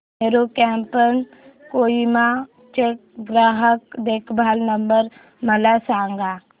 Meru cabs Kohima चा ग्राहक देखभाल नंबर मला सांगा